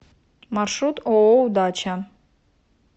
маршрут ооо удача